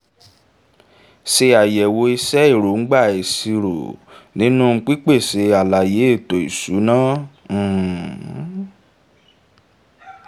ṣe àyẹ̀wò iṣẹ́ èróńgbà ìṣirò nínú pípèsè àlàyé éto ìṣúná um